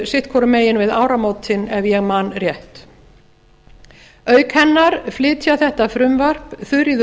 sitt hvorum megin við áramótin ef ég man rétt auk hennar flytja þetta frumvarp þuríður